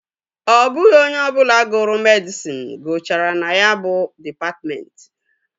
Ọ bụghị onye ọbụla gụrụ medịsịn gụchara na ya bụ dịpatmentị